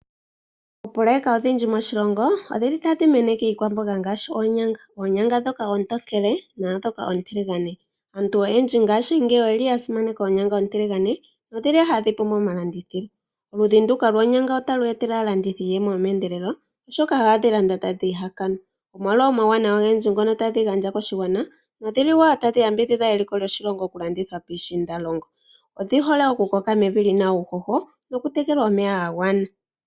Oopoloyeka odhindji moshilongo odhili ta dhimeneke iikwamboga ngaashi oonyanga, oonyanga dhoka oontokele nadhoka oontiligane. Aantu oyendji ngaashi ngeyi oyeli ya simaneka oonyanga ontiligane, nodhili hadhipumo mo malandithilo. Oludhi nduka lwonyanga otali etele aalandithi iiyemo yomendelelo, oshoka ohadhilandwa ta dhiihakanwa, omolwa omauwanawa ogendji ngoka tadhigandja koshiwana. Nodhili woo tadhi yambidhidha eliko loshiwana okulanditha piishindalongo. Odhihole okukoka mevi lyina uuhoho nokutekelwa omeya gagwana.